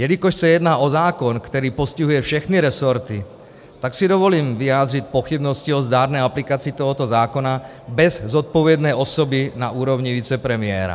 Jelikož se jedná o zákon, který postihuje všechny resorty, tak si dovolím vyjádřit pochybnosti o zdárné aplikaci tohoto zákona bez zodpovědné osoby na úrovni vicepremiéra.